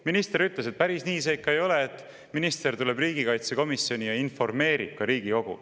Minister ütles, et päris nii see ikka ei ole, minister tuleb riigikaitsekomisjoni ja informeerib Riigikogu.